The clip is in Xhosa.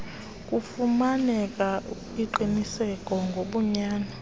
kufumaneke ingqiniseko ngobunyani